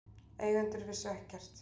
Eigendur vissu ekkert